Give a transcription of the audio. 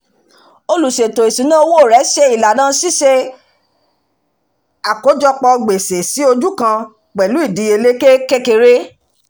oluṣètò ìṣúná owó rẹ ṣe ìlànà ṣiṣẹ́ àkójọpọ̀ gbèsè sí ojú kan pẹ̀lú ìdíyelé kékeré